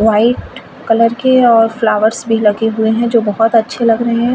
White colour के और flowers भी लगे हुए हैं जो बहोत अच्छे लग रहे हैं।